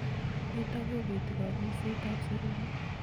Nitok kobeti kang'uiset ab serunek